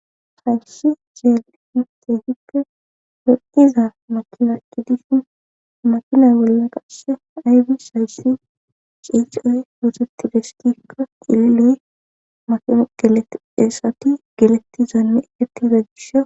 hayshi jeel hintehikke hon7iza makinakki dishun makinay bolla qashe aybi sayssi ciicoy hooteti destikka illoy maino gelett esati geletti zaanme ettiiza gisha